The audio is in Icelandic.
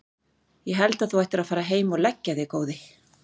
Ég held að þú ættir að fara heim og leggja þig góði!